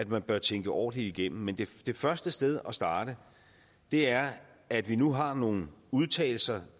man bør tænke ordentligt igennem men det første sted at starte er det at vi nu har nogle udtalelser